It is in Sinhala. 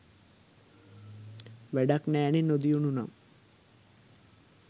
වැඩක් නෑනෙ නොදියුණු නම්.